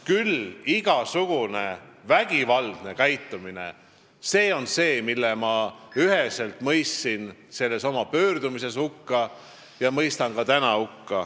Küll on igasugune vägivaldne käitumine see, mille ma mõistsin üheselt hukka oma pöördumises ja mõistan hukka ka täna.